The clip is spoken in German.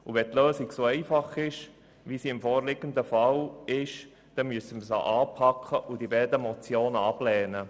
Wenn die Lösung so einfach ist wie im vorliegenden Fall, dann müssen wir sie anpacken und die beiden Motionen ablehnen.